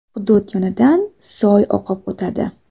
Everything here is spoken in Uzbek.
Hudud yonidan soy oqib o‘tadi.